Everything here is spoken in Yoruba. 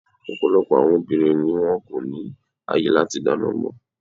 Ọ̀pọ̀lọpọ̀ àwọn obìnrin ni wón kò ní àyè láti dáná mọ́.